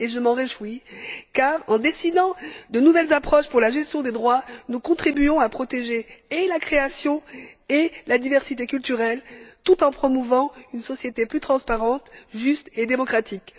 Je m'en réjouis car, en décidant de nouvelles approches pour la gestion des droits, nous contribuons à protéger à la fois la création et la diversité culturelle, tout en promouvant une société plus transparente, plus juste et plus démocratique.